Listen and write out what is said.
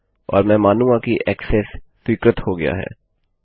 और मैं मानूँगा कि ऐक्सेस स्वीकृत हो गया है